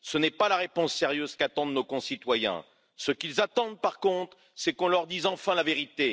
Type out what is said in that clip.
Ce n'est pas la réponse sérieuse qu'attendent nos concitoyens. Ce qu'ils attendent, par contre, c'est qu'on leur dise enfin la vérité.